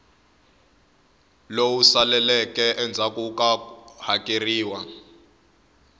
lowu saleleke endzhaku ko hakeleriwa